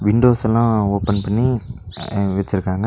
Windows எல்லா open பண்ணி அ வெச்சுருக்காங்க.